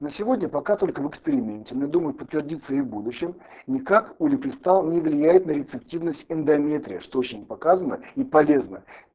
на сегодня пока только в эксперименте ну думаю подтвердится и в будущем никак улипистал не влияет на рецептивность эндометрия что очень показано и полезно